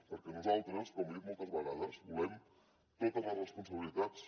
perquè nosaltres com li he dit moltes vegades volem totes les responsabilitats